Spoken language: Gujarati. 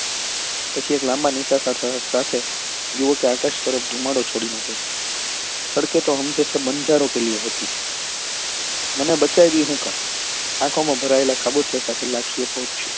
પછી એક લાંબા નિસાસા સાથે યુવકે આકાશ તરફ ગુમાડે ચડી ને કહ્યું સડકે તો હમ જેસે બન્જારો કે લિયે હોતી હૈ મને બચાવી હું કામ આંખો માં ભરાયેલા ખાબોચિયા સાથે લાખી એ પૂછ્યું